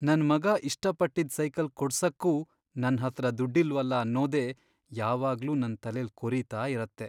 ನನ್ ಮಗ ಇಷ್ಟಪಟ್ಟಿದ್ ಸೈಕಲ್ ಕೊಡ್ಸಕ್ಕೂ ನನ್ಹತ್ರ ದುಡ್ಡಿಲ್ವಲ ಅನ್ನೋದೇ ಯಾವಾಗ್ಲೂ ನನ್ ತಲೆಲ್ ಕೊರೀತಾ ಇರತ್ತೆ.